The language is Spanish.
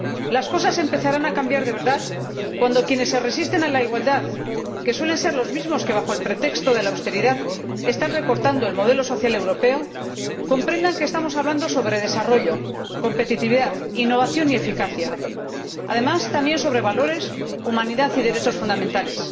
Las cosas empezarán a cambiar de verdad cuando quienes se resisten a la igualdad —que suelen ser los mismos que, bajo el pretexto de la austeridad, están recortando el modelo social europeo— comprendan que estamos hablando sobre desarrollo, competitividad, innovación y eficacia, y también, además, sobre valores, humanidad y derechos fundamentales.